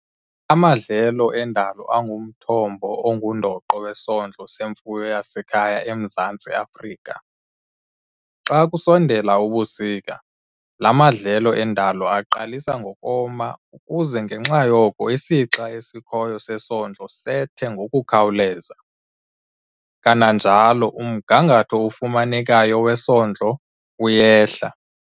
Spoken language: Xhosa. Amadlelo endalo angumthombo ongundoqo wesondlo semfuyo yasekhaya eMzantsi Afrika. Xa kusondela ubusika, la madlelo endalo aqalisa ngokoma ukuze ngenxa yoko isixa esikhoyo sesondlo sethe ngokukhawuleza, kananjalo umgangatho ofumanekayo wesondlo uyehla.